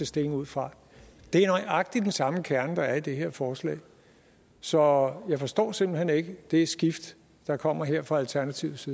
stilling ud fra det er nøjagtig den samme kerne der er i det her forslag så jeg forstår simpelt hen ikke det skift der kommer her fra alternativets